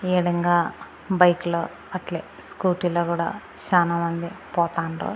అదే విదంగా బైక్ లో అట్లే స్కూటీ లో కూడా చాలా మంది పోతాండ్రు.